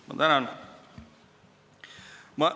Ma tänan!